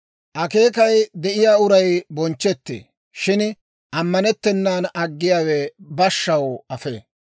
Akeekay de'iyaa uray bonchchetee; shin ammanettennan aggiyaawe bashshaw afee.